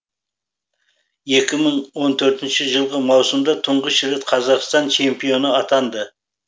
екі мың он төртінші жылғы маусымда тұңғыш рет қазақстан чемпионы атанды